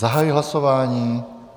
Zahajuji hlasování.